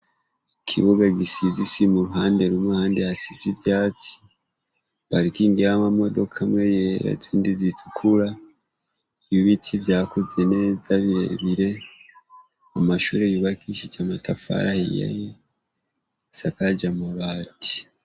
Ikibobe gisize isima impande n'impande hasize ivyatsi parking y'amamodoka amwe yera n'izindi zitukura ibiti vyakuze neza birebire, amashure yubakishije amatafari ahiye isakaje amabati.